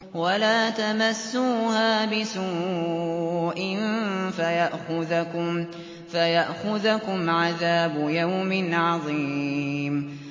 وَلَا تَمَسُّوهَا بِسُوءٍ فَيَأْخُذَكُمْ عَذَابُ يَوْمٍ عَظِيمٍ